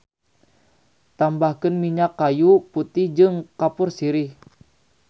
Tambahkeun minyak kayu putih jeung kapur sirih.